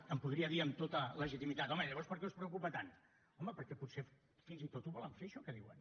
em podria dir amb tota legitimitat home llavors per què us preocupa tant home perquè potser fins i tot ho volen fer això que diuen